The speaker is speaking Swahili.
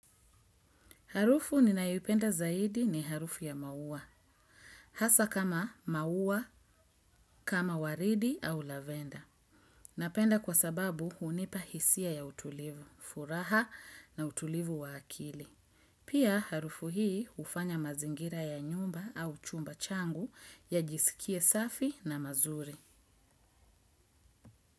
Harufu ninaipenda zaidi ni harufu ya maua. Hasa kama maua kama waridi au lavenda napenda kwa sababu hunipa hisia ya utilivu furaha na utulivu wa akili. Pia harufu hii ufanya mazingira ya nyumba au chumba changu ya jisikie safi na mazuri.